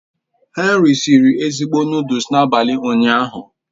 Henry siri ezigbo noodles n'abalị ụnyaahụ